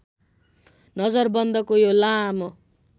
नजरबन्दको यो लामो